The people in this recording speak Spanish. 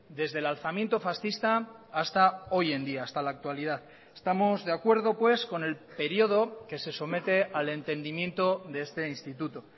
desde el alzamiento fascista hasta hoy en día hasta la actualidad estamos de acuerdo pues con el período que se somete al entendimiento de este instituto